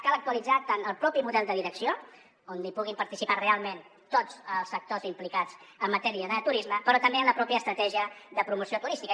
cal actualitzar tant el propi model de direcció on hi puguin participar realment tots els sectors implicats en matèria de turisme però també la pròpia estratègia de promoció turística